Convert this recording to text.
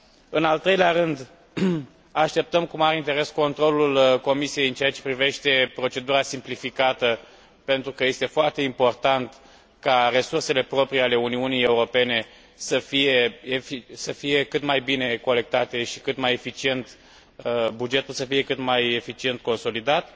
În al treilea rând, așteptăm cu mare interes controlul Comisiei în ceea ce privește procedura simplificată, pentru că este foarte important ca resursele proprii ale Uniuni Europene să fie cât mai bine colectate și bugetul să fie cât mai eficient consolidat.